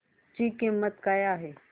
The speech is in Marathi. ची किंमत काय आहे